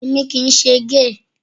Èmi kì í ṣe géè.